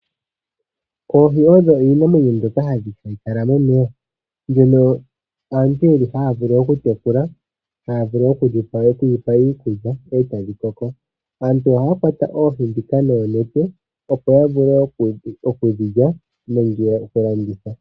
Oohi odho iinamwenyo mbyoka hayi kala momeya, mbyono aantu yeli haya vulu okutekula, haya vulu okudhipa iikulya e tadhi koko. Aantu ohaya kwata oohi dhika noonete opo ya vule oku dhi lya nenge okulanditha.